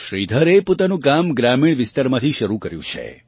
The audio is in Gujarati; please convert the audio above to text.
શ્રીધરજી એ પોતાનું કામ ગ્રામીણ વિસ્તારમાંથી શરૂ કર્યું છે